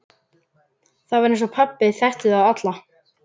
Það var eins og pabbi þekkti þá alla.